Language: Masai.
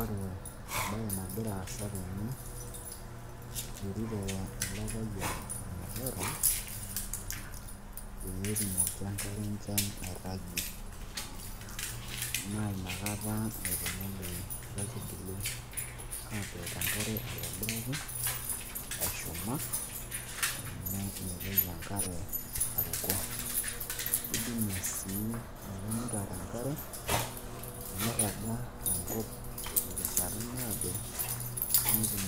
ore enagira aasa tene ,eturito ele payian olmutaro, pee etumoki enkare enchan, airagie, naa inakata etumoki inkaitubulu atook enkare aitobiraki egira ashuma. amu meitoki enkare aruko. idimie sii ele mutaro enkare meiraga tenkop tenkata naado, netum